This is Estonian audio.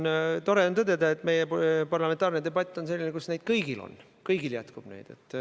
Ja tore on tõdeda, et meie parlamentaarne debatt on selline, kus neid jätkub kõigil.